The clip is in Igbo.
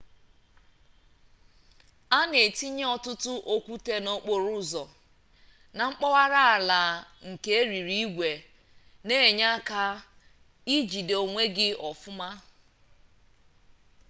a na-etinye ọtụtụ okwute n'okporo ụzọ na mpaghara ala nke eriri igwe na enye aka ijide onwe gi ofuma